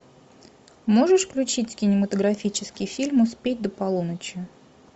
можешь включить кинематографический фильм успеть до полуночи